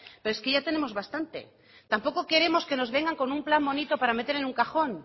pero es que ya tenemos bastante tampoco queremos que nos vengan con un plan bonito para meter en un cajón